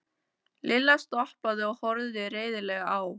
Lilla stoppaði og horfði reiðilega á